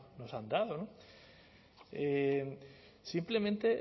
nos han dado simplemente